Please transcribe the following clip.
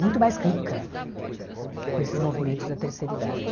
muito mais rica com esses movimentos da terceira idade.